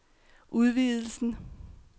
udvidelsen